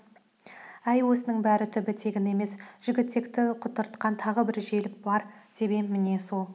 әй осының бәрінің түбі тегін емес жігітекті құтыртқан тағы бір желік бар деп ем міне сол